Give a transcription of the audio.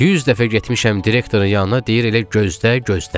100 dəfə getmişəm direktorun yanına, deyir elə gözlə, gözlə.